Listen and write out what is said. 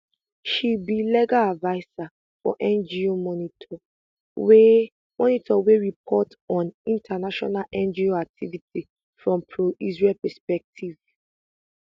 she be legal adviser for ngo monitor wey monitor wey report on international ngo activity from proisrael perspective